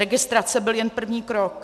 Registrace byl jen první krok.